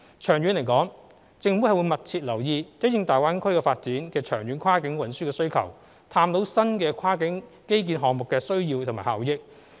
長遠而言，政府會密切留意因應大灣區發展的長遠跨境運輸需求，探討新的跨境基建項目的需要及效益。